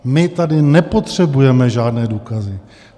My tady nepotřebujeme žádné důkazy.